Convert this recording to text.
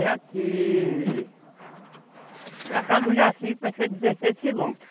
É aqui... Para cá do, parece que é dezesseis quilômetros.